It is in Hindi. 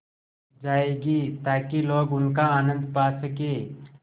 जाएगी ताकि लोग उनका आनन्द पा सकें